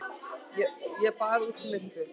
Ég bað út í myrkrið.